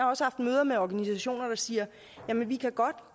også haft møder med organisationer der siger jamen vi kan godt